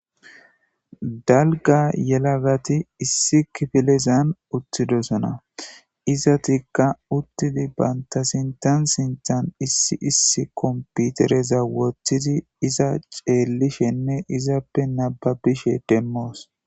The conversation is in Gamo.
dalga yelagati issi kifilezan uttidosona izatikka uttidi baynta sintan sinthan issi issi komputereza wothidi iza xeellishenne izappe nababishe demmoos